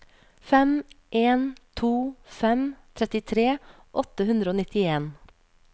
fem en to fem trettitre åtte hundre og nittien